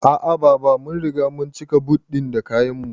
A'a baba, mun riga mun cika but ɗin da kayan mu